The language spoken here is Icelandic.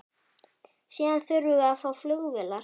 Síðan þurfum við að fá flugvélar.